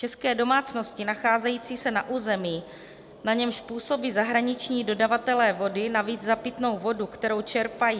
České domácnosti nacházející se na území, na němž působí zahraniční dodavatelé vody, navíc za pitnou vodu, kterou čerpají...